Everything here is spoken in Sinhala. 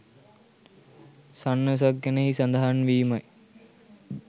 සන්නසක් ගැන එහි සඳහන් වීමයි